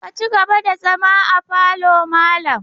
Ka ci gaba da zama a falo malam!